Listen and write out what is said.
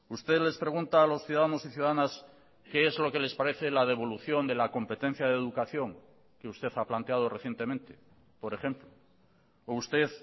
usted les pregunta a los ciudadanos y ciudadanas qué es lo que les parece la devolución de la competencia de educación que usted ha planteado recientemente por ejemplo o usted